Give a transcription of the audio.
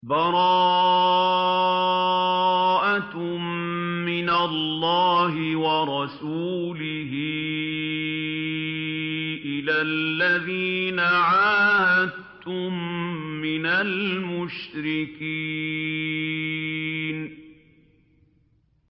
بَرَاءَةٌ مِّنَ اللَّهِ وَرَسُولِهِ إِلَى الَّذِينَ عَاهَدتُّم مِّنَ الْمُشْرِكِينَ